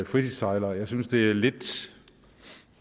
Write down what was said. fritidssejlere jeg synes det er lidt